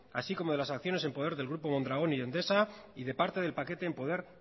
así como de las acciones en poder del grupo mondragón y endesa y de parte del paquete en poder